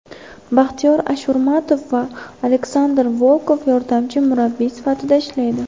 Baxtiyor Ashurmatov va Aleksandr Volkov yordamchi murabbiy sifatida ishlaydi.